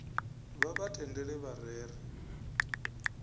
vha vha tendele vha rere